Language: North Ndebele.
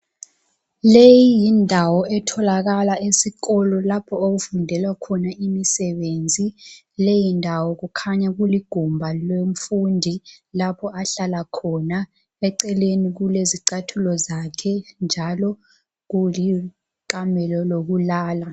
Leyi yindawo etholakala esikolo lapho okufundelwa khona imisebenzi leyi ndawo kukhanya kuligumba lomfundi lapho ahlala khona eceleni kulezicathulo zakhe njalo kulikamelo lokulala